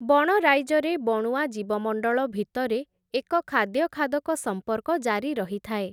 ବଣରାଇଜରେ ବଣୁଆ ଜୀବମଣ୍ଡଳ ଭିତରେ, ଏକ ଖାଦ୍ୟ-ଖାଦକ ସମ୍ପର୍କ ଜାରି ରହିଥାଏ ।